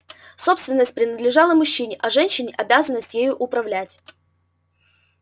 собственность принадлежала мужчине а женщине обязанность ею управлять